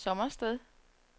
Sommersted